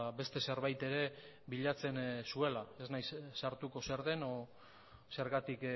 beste zerbait ere bilatzen zuela ez naiz sartuko zer den edo zergatik